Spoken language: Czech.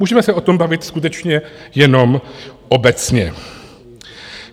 Můžeme se o tom bavit skutečně jenom obecně.